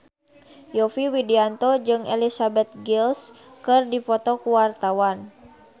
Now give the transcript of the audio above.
Yovie Widianto jeung Elizabeth Gillies keur dipoto ku wartawan